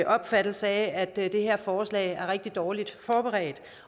opfattelse af at det her forslag er rigtig dårligt forberedt